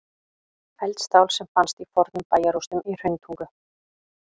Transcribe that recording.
Eldstál sem fannst í fornum bæjarrústum í Hrauntungu.